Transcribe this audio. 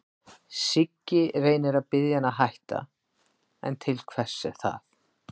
Siggi reynir að biðja hann að hætta, en til hvers er það?